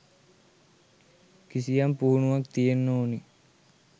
කිසියම් පුහුණුවක් තියෙන්න ඕනෙ.